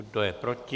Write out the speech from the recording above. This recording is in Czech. Kdo je proti?